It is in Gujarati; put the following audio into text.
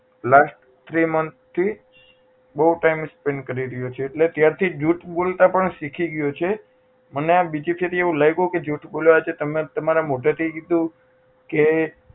last three month થી બહુ time spend કરી રહ્યો છે એટલે ત્યાર થી જૂઠ બોલતા પણ શીખી ગયો છે મને આ બીજી ફેરા એવું લાગ્યું કે આ જૂઠુ બોલવા તમે આ તમારા મોઢે થી કીધું કે